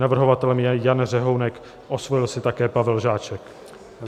Navrhovatelem je Jan Řehounek, osvojil si také Pavel Žáček.